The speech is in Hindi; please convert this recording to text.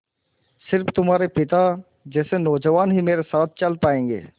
स़िर्फ तुम्हारे पिता जैसे नौजवान ही मेरे साथ चल पायेंगे